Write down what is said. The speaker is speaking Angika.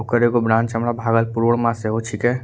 ओकर एगो ब्रांच हमरा भागलपुर म से हो छीके ।